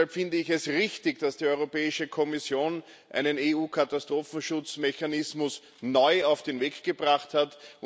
Deshalb finde ich es richtig, dass die Europäische Kommission einen EU Katastrophenschutzmechanismus neu auf den Weg gebracht hat.